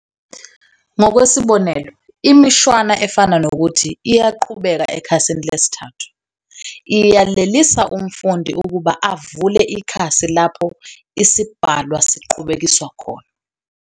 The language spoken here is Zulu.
Ngokwesibonelo, imishwana efana nokuthi "iyaqhubeka ekhasini lesithathu" iyalelisa umfundi ukuba avulle ikhasi lapho isibhalwa siqhubekiswa khona.